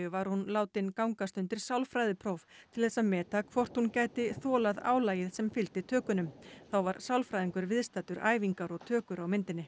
var hún látin gangast undir sálfræðipróf til þess að meta hvort hún gæti þolað álagið sem fylgdi tökunum þá var sálfræðingur viðstaddur æfingar og tökur á myndinni